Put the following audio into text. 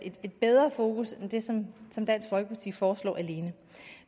et bedre fokus end det som som dansk folkeparti foreslår alene